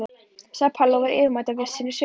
sagði Palli og var yfirmáta viss í sinni sök.